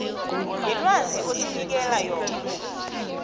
yelwazi osinikela yona